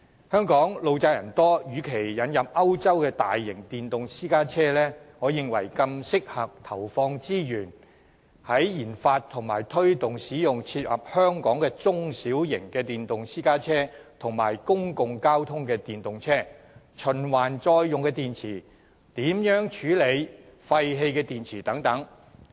香港路窄人多，與其引入歐洲的大型電動私家車，我認為更適合的做法是投放資源研發和推動使用切合香港情況的中小型電動私家車和公共交通電動車，以及開發循環再用電池，並研究如何處理廢棄電池等。